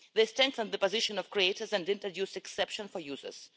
They strengthen the position of creators and introduce exceptions for users.